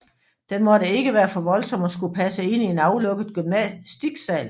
Den måtte ikke være for voldsom og skulle passe ind i en aflukket gymnastiksal